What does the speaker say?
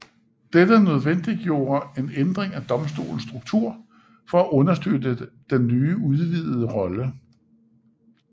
Dette nødvendiggjorde en ændring af Domstolens struktur for at understøtte dens nye udvidede rolle